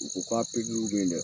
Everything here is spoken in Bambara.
U ko k'a bɛ yen dɛ.